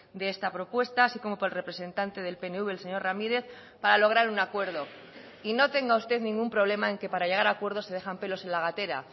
de esta propuesta así como por el representante del pnv el señor ramírez para lograr un acuerdo y no tenga usted ningún problema en que para llegar a acuerdos se dejan pelos en la gatera